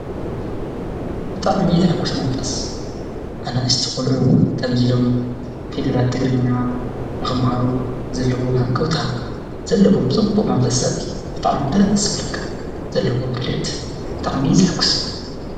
ብጣዕሚ ዝኅጕሽ መንፈስ ኣነ እስቲቖልዑ ከምዙይ ኢሎም ፊደላት ትግርኛ ንኽምሃሩ ዘለዎም ሕንቀውታ ዘለዎም ጽቡእ መንፈሰሪ ብጥዕሚደስብለከ ዘለዎም ድልየት ብጣዕሚዪ ዘሕጉስ እዩ።